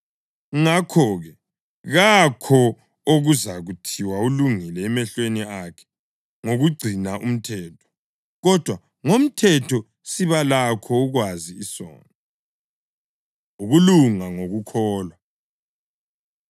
Ngakho-ke, kakho okuzathiwa ulungile emehlweni akhe ngokugcina umthetho; kodwa ngomthetho siba lakho ukwazi isono. Ukulunga Ngokukholwa